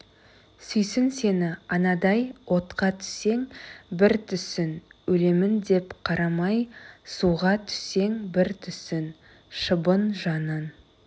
сүйсін сені анадай отқа түссең бір түссін өлемін деп қарамай суға түссең бір түссін шыбын жанын